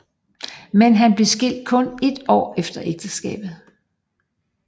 Men han blev skilt kun et år efter ægteskabet